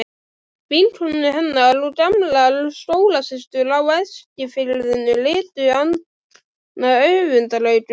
Keflavík Hvaða liði leikur Eggert Gunnþór Jónsson með?